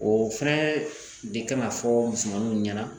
O fɛnɛ de kan ka fɔ musomannu ɲɛna